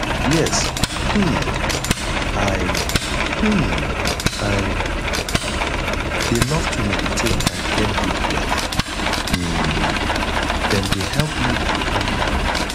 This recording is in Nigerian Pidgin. yes um i um i dey love to meditate and get deep breath um dem dey help me to calm down